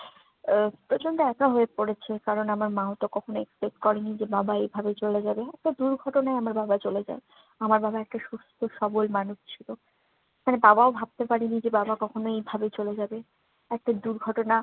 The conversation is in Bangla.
উহ প্রচন্ড একা হয়ে পড়েছে। কারণ, আমার মাওতো কখনো expect করেননি যে, বাবা এভাবে চলে যাবে। একটা দুর্ঘটনায় আমার বাবা চলে যায়, আমার একটা সুস্থ্য-সবল মানুষ ছিলো। তাই বাবাও ভাবতে পারেনি যে, বাবাও কখনো এভাবে চলে যাবে। একটা দূর্ঘটনা